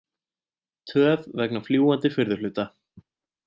Töf vegna fljúgandi furðuhluta